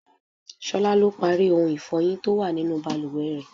Ṣolá lo parí ohun ifọyin tó wà nínú bàlùwẹ̀ rẹ.